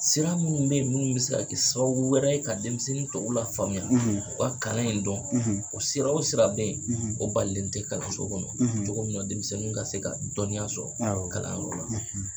Sira minnu be ye minnu be se ka kɛ sababu wɛrɛ ye ka denmisɛnnin tɔw lafaamuya, u ka kalan in dɔn, o sira o sira be ye, o balilen te kalanso kɔnɔ, cogo min na denmisɛnnin ka se ka dɔniya sɔrɔ, awɔ kalanyɔrɔ la.